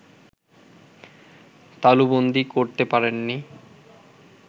তালুবন্দী করতে পারেননি